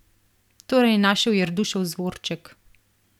Torej je našel Jerdušev zvroček.